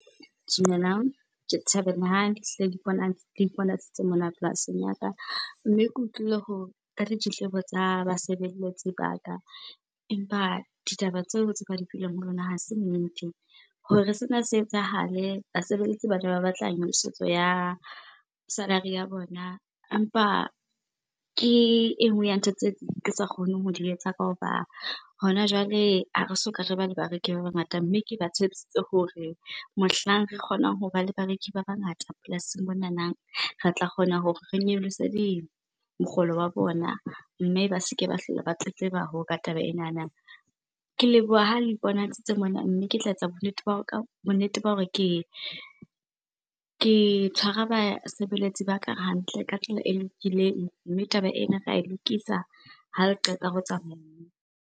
Dumelang, ke thabela ha iponahaditse mona polasing ya ka. Mme ke utlwile ka ditletlebo tsa basebeletsi ba ka, empa ditaba tseo tse ba di fileng ho lona ha se nnete. Hore sena se etsahale, basebeletsi bane ba batla nyolosetso ya salary ya bona. Empa ke e nngwe ya ntho tse ke sa kgoneng ho di etsa ka hoba, hona jwale ha re soka re ba le bareki ba bangata, mme ke ba tshepisitse hore mohlang re kgonang ho ba le bareki ba bangata polasing monana re tla kgona hore re nyolose mokgolo wa bona mme ba seke ba hlola ba tletleba ka taba enana. Ke leboha ha le iponahaditse mona, mme ke tla etsa bonnete , bo nnete ba hore ke tshwara basebeletsi ba ka hantle ka tsela e lokileng, mme taba ena ra e lokisa ha le qeta ho tsamauwe.